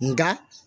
Nka